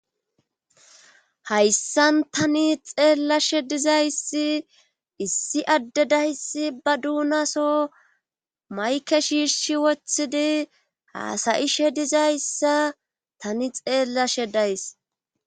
hayssan tani xeellashe dizayssi issi adde dayssi ba duunaso mayke shiirshi wothidi haasayishe dizayssa tani xeellashe days